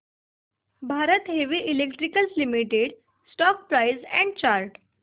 Bharat heavy electricals limited stock price and chart